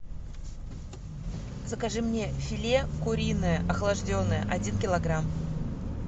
закажи мне филе куриное охлажденное один килограмм